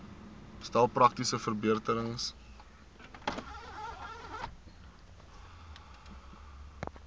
stel praktiese verbeterings